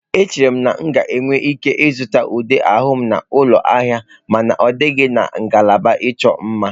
Echere m na m ga-enwe ike ịzụta ude ahụ m n'ụlọ ahịa mana ahụghị m ya na ngalaba ịchọ mma.